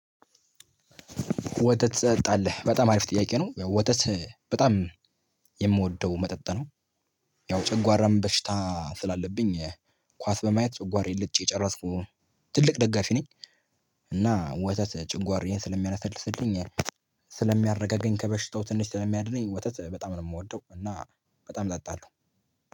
ወተት ትጠጣለህ በጣም አሪፍ ጥያቄ ነው ያው ወተት በጣም የምወደው መጠጥ ነው። ያው ጨጓራም በሽታ ስላለብኝ ኳስ በማየት ጨጓራዬን ልጬ ጨረስኩ ትልቅ ደጋፊ ነኝ። እና ወተት ጭንጓር ይሄን ስለሚያሰልስልኝ ስለሚያረጋገኝ ከበሽታው ትንሽ ተለሚ አድኔ ወተት በጣም ነው የምወደው። እና በጣም ጠጣለሁ